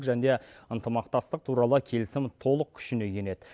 және де ынтымақтастық туралы келісім толық күшіне енеді